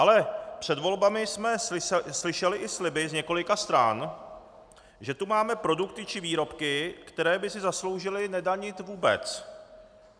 Ale před volbami jsme slyšeli i sliby z několika stran, že tu máme produkty či výrobky, které by si zasloužily nedanit vůbec.